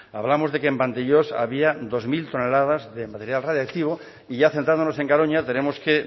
hablamos de que en vandellós había dos mil toneladas de material radiactivo y ya centrándonos en garoña tenemos que